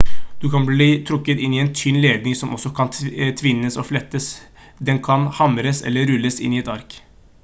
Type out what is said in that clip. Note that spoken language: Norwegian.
den kan bli trukket inn i en tynn ledning som også kan tvinnes og flettes den kan hamres eller rulles inn i et ark